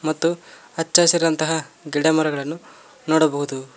ಮತ್ತು ಹಚ್ಚ ಹಸಿರಿನಂತಹ ಗಿಡಮರಗಳನ್ನು ನೋಡಬಹುದು.